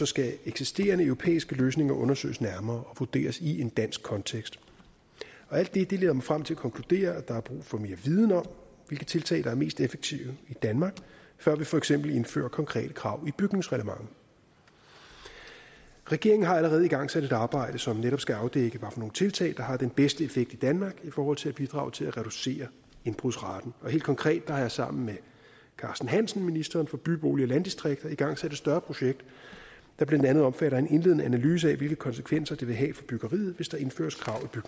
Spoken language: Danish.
skal eksisterende europæiske løsninger undersøges nærmere og vurderes i en dansk kontekst alt det det leder mig frem til at konkludere at der er brug for mere viden om hvilke tiltag der er mest effektive i danmark før vi for eksempel indfører konkrete krav i bygningsreglementet regeringen har allerede igangsat et arbejde som netop skal afdække hvad for nogle tiltag der har den bedste effekt i danmark i forhold til at bidrage til at reducere indbrudsraten helt konkret har jeg sammen med ministeren for by bolig og landdistrikter igangsat et større projekt der blandt andet omfatter en indledende analyse af hvilke konsekvenser det vil have for byggeriet hvis der indføres krav i